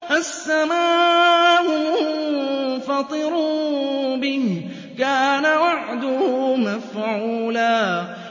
السَّمَاءُ مُنفَطِرٌ بِهِ ۚ كَانَ وَعْدُهُ مَفْعُولًا